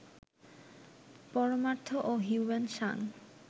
পরমার্থ ও হিউয়েন সাঙ